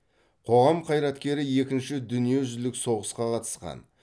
қоғам қайраткері екінші дүниежүзілік соғысқа қатысқан